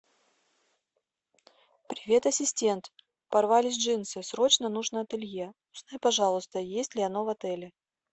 привет ассистент порвались джинсы срочно нужно ателье узнай пожалуйста есть ли оно в отеле